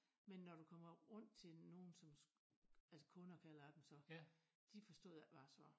Men når du kommer rundt til nogen som altså kunder kalder jeg dem så de forstod ikke hvad jeg sagde